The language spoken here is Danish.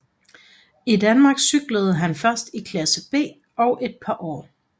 I Danmark cyklede han først i klasse B i et par år